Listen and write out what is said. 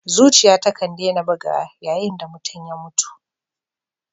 Zuciya takan dena bugawa yayin da mutum ya mutu.